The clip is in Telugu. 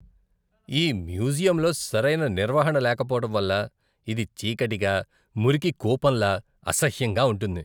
ఈ మ్యూజియంలో సరైన నిర్వహణ లేకపోవడం వల్ల ఇది చీకటిగా, మురికి కూపంలా, అసహ్యంగా ఉంటుంది.